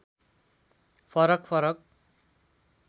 फरक फरक